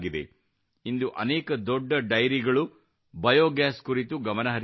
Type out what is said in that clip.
ಇಂದು ಅನೇಕ ದೊಡ್ಡ dairies biogas ಕುರಿತು ಗಮನ ಹರಿಸುತ್ತಿವೆ